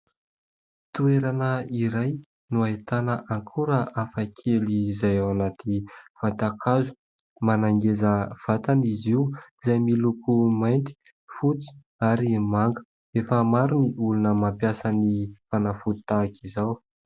Toerana iray no ahitana akora hafakely izay ao anatin'ny vatan-kazo, manangeza vatana izy io izay miloko mainty, fotsy ary manga. Efa maro ny olona mampiasa ny fanafody tahaka izao.